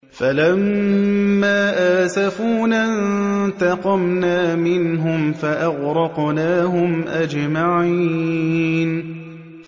فَلَمَّا آسَفُونَا انتَقَمْنَا مِنْهُمْ فَأَغْرَقْنَاهُمْ أَجْمَعِينَ